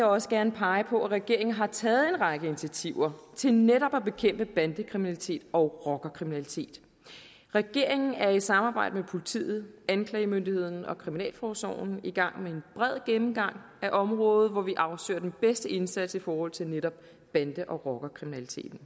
også gerne pege på at regeringen har taget en række initiativer til netop at bekæmpe bandekriminalitet og rockerkriminalitet regeringen er i samarbejde med politiet anklagemyndigheden og kriminalforsorgen i gang med en bred gennemgang af området hvor vi afsøger den bedste indsats i forhold til netop bande og rockerkriminaliteten